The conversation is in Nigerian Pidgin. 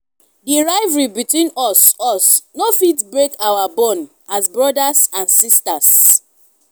di rivalry between us us no fit break our bond as brothers and sisters.